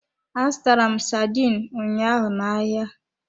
Azụtara m sardine ụnyaahụ n'ahịa.